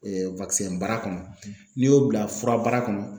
bara kɔnɔ n'i y'o bila furabara kɔnɔ